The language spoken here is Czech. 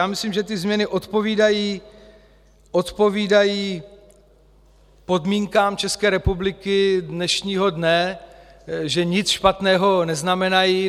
Já myslím, že ty změny odpovídají podmínkám České republiky dnešního dne, že nic špatného neznamenají.